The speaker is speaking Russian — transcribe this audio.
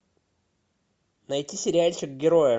найти сериальчик герои